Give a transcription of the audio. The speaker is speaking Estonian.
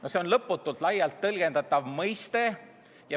No see on lõputult laialt tõlgendatav mõiste.